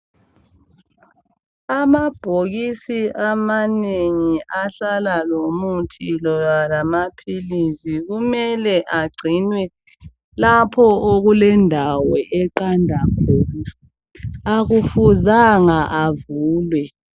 Amabhokisi amanengi ahlala lomuthi loba lamaphilisi kumele agcinwe lapho okulendawo eqanda khona. Akufuzanga avulwe.